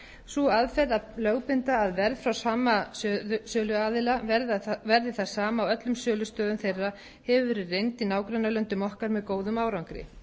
sú aðferð að lögbinda að verð frá sama söluaðila verði það sama á öllum sölustöðum þeirra hefur verið reynd í nágrannalöndum okkar með góðum árangri